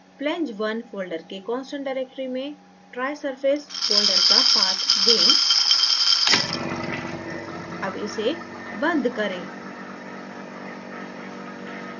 flange _ 1 folder के constant directory में trisurface folder का path दें अब इसे बंद करें